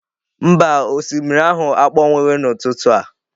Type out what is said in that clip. Mba, osimiri ahụ akpọnwụghị n'ụtụtụ a.